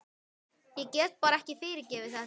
Ég get bara ekki fyrirgefið þetta.